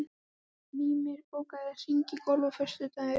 Mímir, bókaðu hring í golf á föstudaginn.